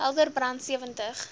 helder brand sewentig